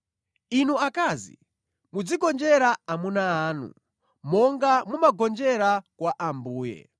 Inu akazi, muzigonjera amuna anu, monga mumagonjera kwa Ambuye.